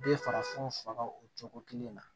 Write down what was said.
Bɛɛ farafinw faga o cogo kelen na